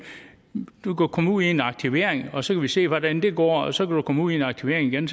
du kan komme ud i aktivering og så må vi se hvordan det går og så kan du komme ud i aktivering igen